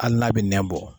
Hali n'a bɛ nɛn bɔ